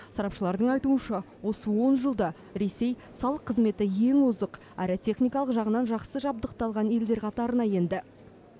сарапшылардың айтуынша осы он жылда ресей салық қызметі ең озық әрі техникалық жағынан жақсы жабдықталған елдер қатарына енді